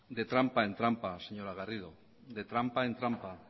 de trampa en trampa señora garrido de trampa en trampa